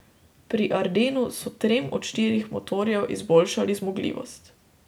Pri Ardenu so trem od štirih motorjev izboljšali zmogljivost.